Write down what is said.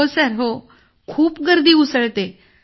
हो सर खूप गर्दी उसळते